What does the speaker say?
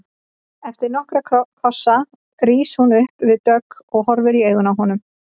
Eftir nokkra kossa rís hún upp við dogg og horfir í augu honum.